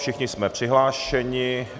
Všichni jsme přihlášeni?